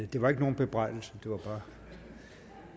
det var ikke nogen bebrejdelse det